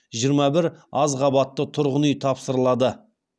жиырма бір аз қабатты тұрғын үй тапсырылады